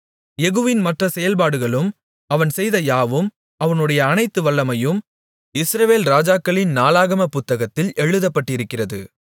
யெகூவின் மற்ற செயல்பாடுகளும் அவன் செய்த யாவும் அவனுடைய அனைத்து வல்லமையும் இஸ்ரவேல் ராஜாக்களின் நாளாகமப் புத்தகத்தில் எழுதப்பட்டிருக்கிறது